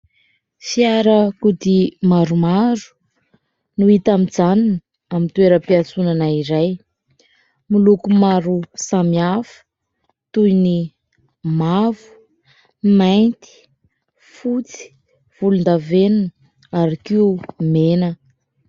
Fiarakodia maromaro no hita mijanona eo amin'ny toeram-piatsonana iray, miloko maro samihafa toy ny: mavo, mainty, fotsy, volondavenona ary koa mena.